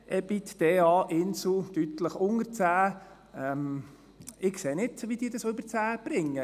EBITDA Insel, deutlich unter 10. Ich sehe nicht, wie sie es über 10 bringen.